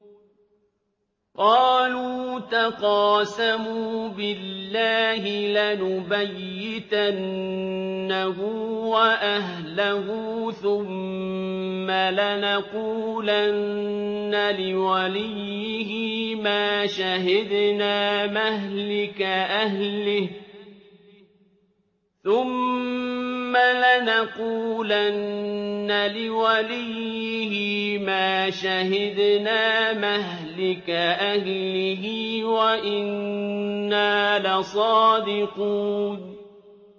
قَالُوا تَقَاسَمُوا بِاللَّهِ لَنُبَيِّتَنَّهُ وَأَهْلَهُ ثُمَّ لَنَقُولَنَّ لِوَلِيِّهِ مَا شَهِدْنَا مَهْلِكَ أَهْلِهِ وَإِنَّا لَصَادِقُونَ